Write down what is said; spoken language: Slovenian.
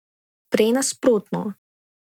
Prej nasprotno.